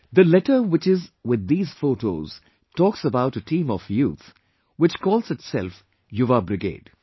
The letter which is with these photos talks about a team of youth which calls itself Yuva brigade